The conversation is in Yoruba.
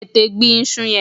Tètè gbin iṣu yẹn!